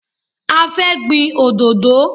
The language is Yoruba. A fẹ́ gbin òdodo.